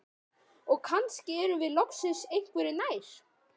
Og kannski erum við loksins einhverju nær.